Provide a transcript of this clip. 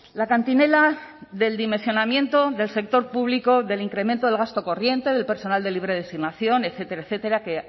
la cantinela del dimensionamiento del sector público del incremento del gasto corriente del personal de libre designación etcétera etcétera que